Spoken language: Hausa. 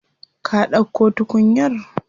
Ka dauko tukunyar?